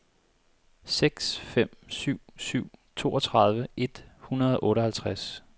seks fem syv syv toogtredive et hundrede og otteoghalvtreds